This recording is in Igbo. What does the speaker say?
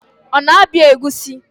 Ọ na-abịa egusi?